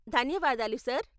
ధన్యవాదాలు, సార్ .